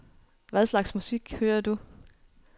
Hvad slags musik hører du?